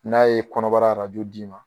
N'a ye kɔnɔbara d'i ma